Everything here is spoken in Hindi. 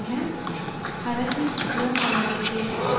हालाँकि यह हमारे उद्देश्य को पूरा करता है पर वहाँ कुछ परेशानियाँ हैं